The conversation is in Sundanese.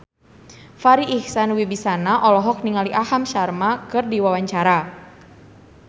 Farri Icksan Wibisana olohok ningali Aham Sharma keur diwawancara